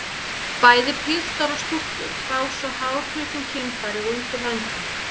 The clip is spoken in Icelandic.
Bæði piltar og stúlkur fá svo hár kringum kynfæri og undir höndum.